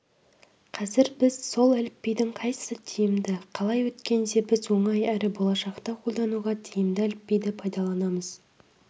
қазір біз сол әліпбидің қайсысы тиімді қалай еткенде біз оңай әрі болашақта қолдануға тиімді әліпбиді пайдаланамыз